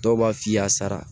Dɔw b'a f'i y'a sara